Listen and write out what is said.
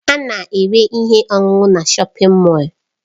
A na-ere ihe ọṅụṅụ na Shọpin Mọll.